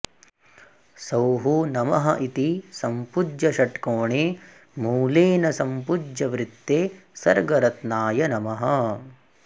सौः नमः इति सम्पूज्य षट्कोणे मूलेन सम्पूज्य वृत्ते सर्गरत्नाय नमः